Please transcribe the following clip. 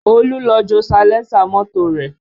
Olú lọ jó salẹńsà mọ́tò rẹ̀